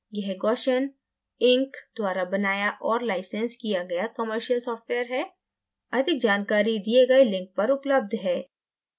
यह gaussian inc द्वारा बनाया और licensed किया गया commercial सॉफ्टवेयर है